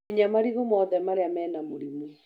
Munya marigũ mothe marĩa me na mũrimu.